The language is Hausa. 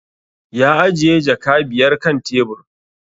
Ya ajiye jaka biyar kan tebur